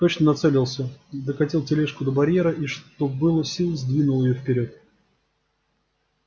точно нацелился докатил тележку до барьера и что было сил сдвинул её вперёд